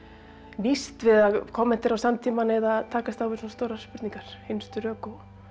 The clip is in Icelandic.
nýst við að kommentera á samtímann eða takast á við svona stórar spurningar hinstu rök